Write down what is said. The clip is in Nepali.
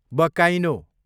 बकाइनो